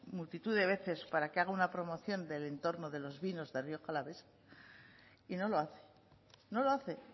multitud de veces para que haga una promoción del entorno de los vinos de rioja alavesa y no lo hace no lo hace